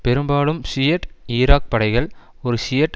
பெரும்பாலும் Shiite Iraq படைகள் ஒரு ஷியைட்